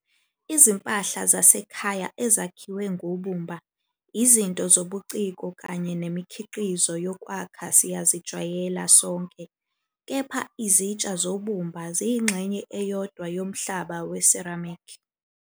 Izimpahla zasekhaya ezakhiwe ngobumba, izinto zobuciko kanye nemikhiqizo yokwakha siyazijwayela sonke, kepha izitsha zobumba ziyingxenye eyodwa yomhlaba we-ceramic.